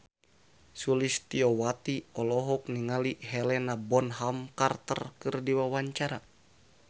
Sulistyowati olohok ningali Helena Bonham Carter keur diwawancara